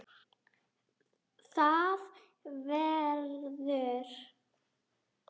ÞAÐ VERÐUR